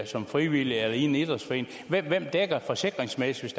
som frivillig eller i en idrætsforening hvem dækker forsikringsmæssigt